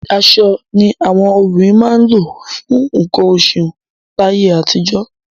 Aṣọ ni àwọn obìnrin máa ń lò fún nǹkan oṣù láyé àtijọ́.